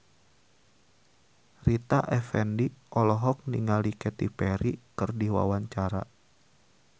Rita Effendy olohok ningali Katy Perry keur diwawancara